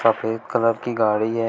सफेद कलर की गाड़ी है।